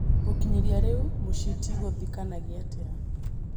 Gũkinyĩria rĩu mũcitigithũkanagia atia?